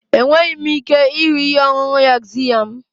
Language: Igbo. Enweghị m ike ịhụ ihe ọṅụṅụ yaxiya m.